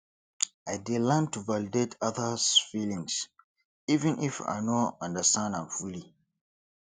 i dey learn to validate others feelings even if i no understand am fully